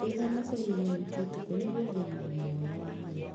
Wĩtheme kũrĩa irio nyingĩ ũtukũ nĩguo ũgĩe na ũgima mwega wa mwĩrĩ.